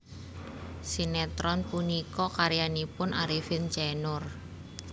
Sinetron punika karyanipun Arifin C Noer